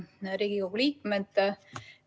Head Riigikogu liikmed!